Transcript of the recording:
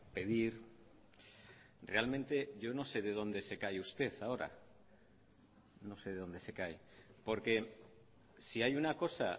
pedir realmente yo no sé de dónde se cae usted ahora no sé de dónde se cae porque si hay una cosa